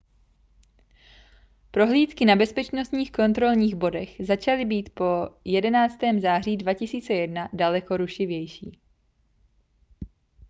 prohlídky na bezpečnostních kontrolních bodech začaly být po 11. září 2001 daleko rušivější